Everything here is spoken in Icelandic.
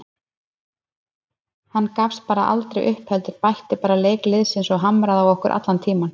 Hann gafst aldrei upp heldur bætti bara leik liðsins og hamraði á okkur allan tímann.